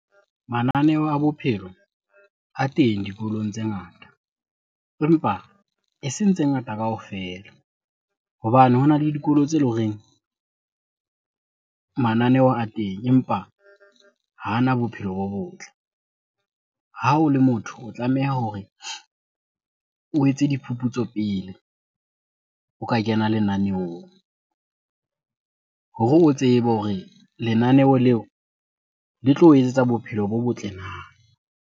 Mananeo a bophelo a teng dikolong tse ngata empa eseng tse ngata kaofela. Hobane hona le dikolo tse le horeng mananeho a teng empa ha ana bophelo bo botle. Ha o le motho o tlameha hore o etse diphuphutso pele o ka kena lenaneong hore o tsebe hore lenaneo leo le tlo o etsetsa bophelo bo botle na?